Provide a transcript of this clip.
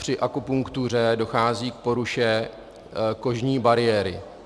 Při akupunktuře dochází k poruše kožní bariéry.